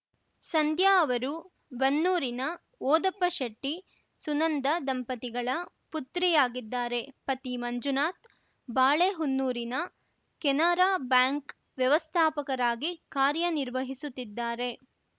ಸಂಧ್ಯಾ ಅವರು ಬನ್ನೂರಿನ ಓದಪ್ಪಶೆಟ್ಟಿ ಸುನಂದ ದಂಪತಿಗಳ ಪುತ್ರಿಯಾಗಿದ್ದಾರೆ ಪತಿ ಮಂಜುನಾಥ್‌ ಬಾಳೆಹೊನ್ನೂರಿನ ಕೆನರಾ ಬ್ಯಾಂಕ್‌ ವ್ಯವಸ್ಥಾಪಕರಾಗಿ ಕಾರ್ಯನಿರ್ವಹಿಸುತ್ತಿದ್ದಾರೆ